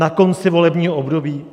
Na konci volebního období?